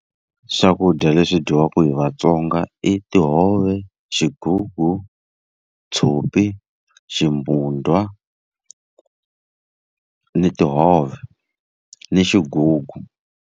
Swakudya leswi dyiwaka hi vaTsonga i tihove, xigugu, tshopi, ximbudwa, ni tihove, ni xigugu.